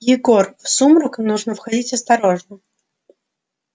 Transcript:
егор в сумрак нужно входить осторожно